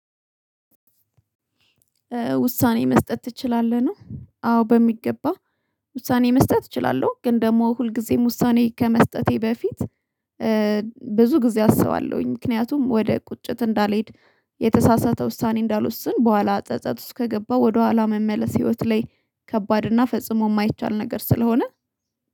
ውሳኔ መስጠት ትችላለህ ነው አዎ በሚገባ። ውሳኔ መስጠት እችላለሁ ግን ደግሞ ሁልጊዜም ውሳኔ ከመስጠቴ በፊት። ብዙ ጊዜ አስባለሁኝ ምክንያቱም ወደ ቁጭት እንዳልሄድ የተሳሳተ ውሳኔ እንዳልወስን በኋላ ጸጸት ውስጥ ከገባ ወደኋላ መመለስ ህይወት ላይ ከባድ እና ፈጽሞ ማይቻል ነገር ስለሆነ።